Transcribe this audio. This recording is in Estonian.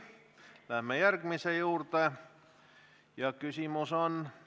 Läheme järgmise küsimuse juurde.